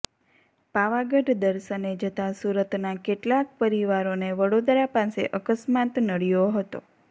પાવાગઢ દર્શને જતા સુરતના કેટલાક પરિવારોને વડોદરા પાસે અકસ્માત નડ્યો હતો